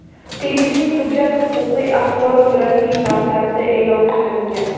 Tegishli hujjat huquqiy axborot rasmiy portalida e’lon qilingan.